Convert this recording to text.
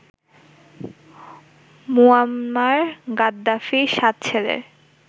Muammar গাদ্দাফির ৭ ছেলের